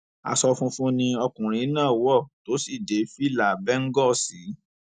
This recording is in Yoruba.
aṣọ funfun ni ọkùnrin náà wọ tó sì dé fìlà bẹńgòó sí i